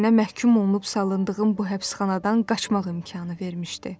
Sənə məhkum olunub salındığın bu həbsxanadan qaçmağa imkanı vermişdi.